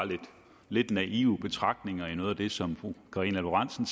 lidt naive betragtninger i noget af det som fru karina lorentzen